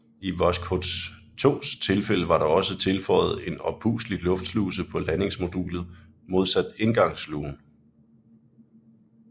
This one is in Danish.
I Voskhod 2s tilfælde var der også tilføjet en oppustelig luftsluse på landingsmodulet modsat indgangslugen